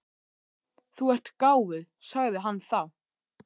Þú ert gáfuð, sagði hann þá.